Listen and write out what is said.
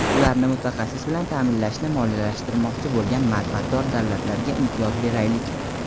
ularni mutaxassis bilan taʼminlashni moliyalashtirmoqchi bo‘lgan manfaatdor davlatlarga imtiyoz beraylik.